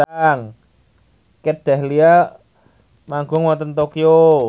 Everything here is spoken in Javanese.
Kat Dahlia manggung wonten Tokyo